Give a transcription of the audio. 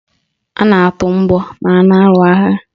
A na-atụ mgbọ ma a na-alụ agha